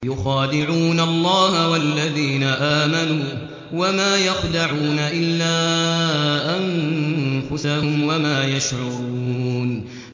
يُخَادِعُونَ اللَّهَ وَالَّذِينَ آمَنُوا وَمَا يَخْدَعُونَ إِلَّا أَنفُسَهُمْ وَمَا يَشْعُرُونَ